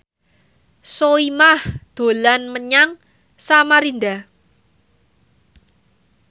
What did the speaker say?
Soimah dolan menyang Samarinda